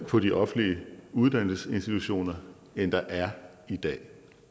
på de offentlige uddannelsesinstitutioner end der er i dag